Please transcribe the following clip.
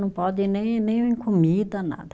Não pode nem nem comida, nada.